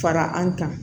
Fara an kan